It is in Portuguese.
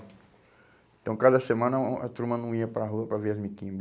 Então, cada semana, hum a turma não ia para a rua para ver as